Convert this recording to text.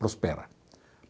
Prospera.